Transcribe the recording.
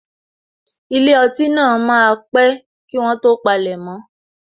Ilé ọtí náà máa pé kí wọ́n tó palemo